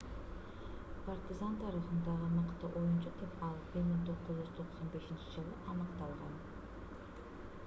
партизан тарыхындагы мыкты оюнчу деп ал 1995-жылы аныкталган